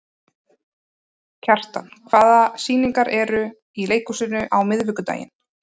Kjartan, hvaða sýningar eru í leikhúsinu á miðvikudaginn?